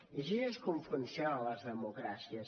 i així és com funcionen les democràcies